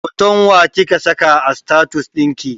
Hoton wa kika saka a status ɗinki?